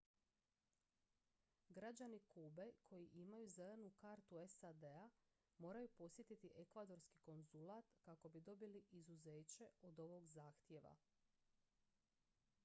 građani kube koji imaju zelenu kartu sad-a moraju posjetiti ekvadorski konzulat kako bi dobili izuzeće od ovog zahtjeva